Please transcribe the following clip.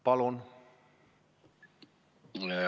Palun!